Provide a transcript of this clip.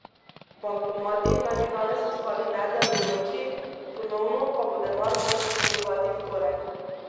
Bankomati naj bi danes ostali nedelujoči, ponovno pa bo denar moč dvigovati v torek.